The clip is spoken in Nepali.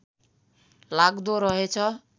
लाग्दो रहेछ